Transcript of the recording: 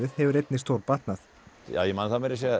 hefur einnig stórbatnað ég man það